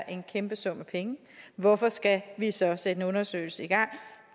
en kæmpe sum penge hvorfor skal vi så sætte en undersøgelse i gang